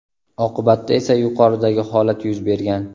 Oqibatda esa yuqoridagi holat yuz bergan.